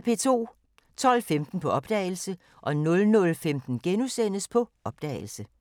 12:15: På opdagelse 00:15: På opdagelse *